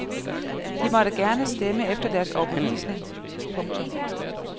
De måtte gerne stemme efter deres overbevisning. punktum